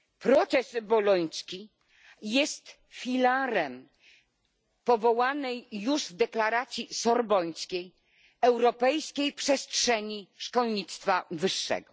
Proces boloński jest filarem powołanej już w Deklaracji Sorbońskiej Europejskiej Przestrzeni Szkolnictwa Wyższego.